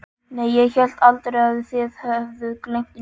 Nei, ég hélt aldrei að þið hefðuð gleymt neinu.